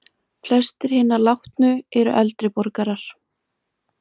Flestir hinna látnu eru eldri borgarar